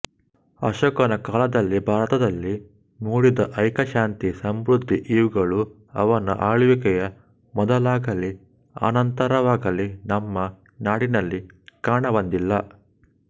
ಅಶೋಕನ ಕಾಲದಲ್ಲಿ ಭಾರತದಲ್ಲಿ ಮೂಡಿದ್ದ ಐಕ್ಯ ಶಾಂತಿ ಸಮೃದ್ಧಿಇವುಗಳು ಅವನ ಆಳ್ವಿಕೆಯ ಮೊದಲಾಗಲೀ ಅನಂತರವಾಗಲೀ ನಮ್ಮ ನಾಡಿನಲ್ಲಿ ಕಾಣಬಂದಿಲ್ಲ